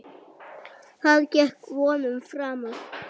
Það gekk vonum framar.